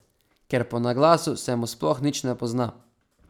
Ker po naglasu se mu sploh nič ne pozna.